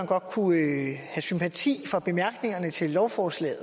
godt kunne have sympati for bemærkningerne til lovforslaget